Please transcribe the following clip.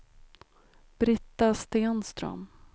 Brita Stenström